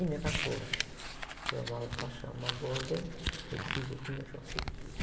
E minha cachorra, que eu amava de paixão, uma golden retriever linda, que chama Sofia.